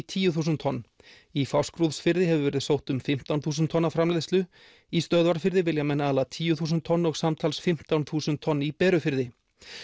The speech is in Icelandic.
tíu þúsund tonn í Fáskrúðsfirði hefur verið sótt um fimmtán þúsund tonna framleiðslu í Stöðvarfirði vilja menn ala tíu þúsund tonn og samtals fimmtán þúsund tonn í Berufirði